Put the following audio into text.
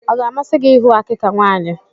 Ọ ga-amasị gị ịhụ àkikà nwaanyị?